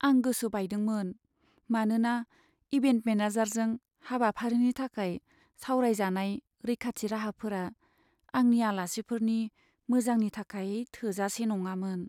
आं गोसो बायदोंमोन मानोना इभेन्ट मेनेजारजों हाबाफारिनि थाखाय सावरायजानाय रैखाथि राहाफोरा आंनि आलासिफोरनि मोजांनि थाखाय थोजासे नङामोन।